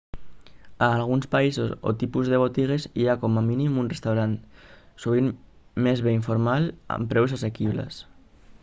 a alguns països o tipus de botigues hi ha com a mínim un restaurant sovint més bé informal amb preus assequibles